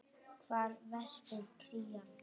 Hvar verpir krían?